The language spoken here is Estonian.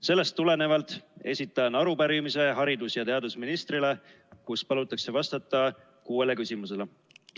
Sellest tulenevalt esitan haridus- ja teadusministrile arupärimise, milles palutakse vastata kuuele küsimusele.